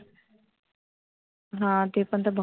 हा ते पण तर बगता